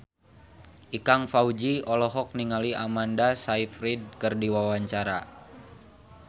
Ikang Fawzi olohok ningali Amanda Sayfried keur diwawancara